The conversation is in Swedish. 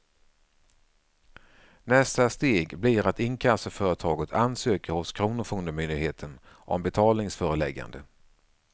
Nästa steg blir att inkassoföretaget ansöker hos kronofogdemyndigheten om betalningsföreläggande.